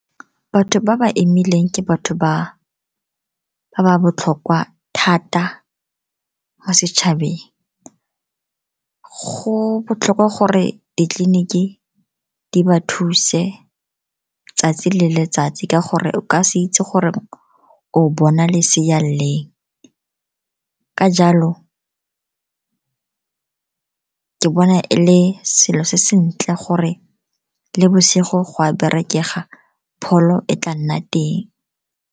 Batho ba ba imileng ke batho ba botlhokwa thata mo setšhabeng. Go botlhokwa gore ditleliniki di ba thuse tsatsi le letsatsi, ka gore o ka se itse gore o bona lesea. Ka jalo, ke bona e le selo se sentle gore le bosigo go a berekega pholo e tla nna teng.